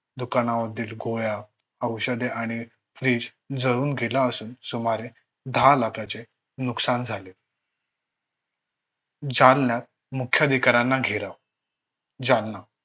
दुकानांमधील गोळ्या, औषधे आणि फ्रिज जळून गेला असून सुमारे दहा लाखाचे नुकसान झाले. जालण्यात मुख्य अधिकाऱ्यांना घेराव. जालना